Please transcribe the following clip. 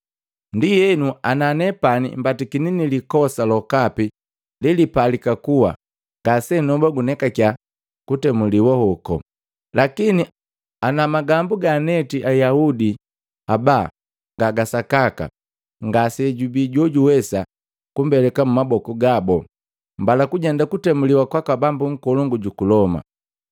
Ndienu ana nepani mbatakini ni likosa lokapi lelipalika kuwa, ngasenoba kunekake kutemuliwa hoko. Lakini ana magambu gaanetiki Ayaudi aba nga ga sakaka, ngasejubii jojuwesa kumbeleka mumaboku gabo. Mbala kujenda kutemuliwa kwaka bambu nkolongu juku Loma!”